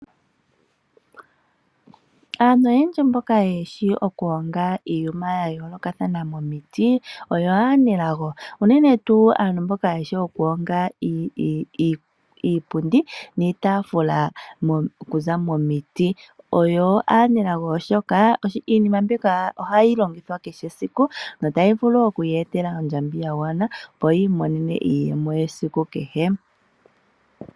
Aantu oyendji mboka yeshi oku honga iinima yayoolokathana momiti oyo aanelago. Mbono yeshi oku honga iipundi niitafula oku za momiiti oyo aanelago oshoka iinima mbika ohayi longithwa kehe esiku na otayi vulu oku ya etela ondjambi yagwana opo yiimonene iiyemo yesiku kehe.